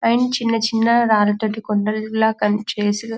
and చిన్న చిన్న రాళ్ల తోటి చేసిన కొండలా చేసి --